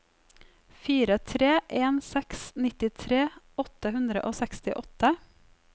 fire tre en seks nittitre åtte hundre og sekstiåtte